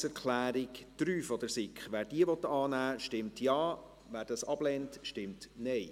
Wer die Planungserklärung 3 der SiK annehmen will, stimmt Ja, wer diese ablehnt, stimmt Nein.